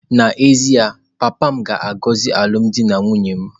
N'ezie ya, papa m ga-agọzi alụmdi na nwunye m.